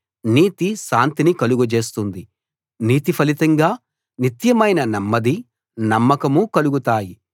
నీతి శాంతిని కలుగ చేస్తుంది నీతి ఫలితంగా నిత్యమైన నెమ్మదీ నమ్మకమూ కలుగుతాయి